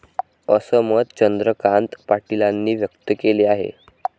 असं मत चंद्रकांत पाटीलांनी व्यक्त केले आहे.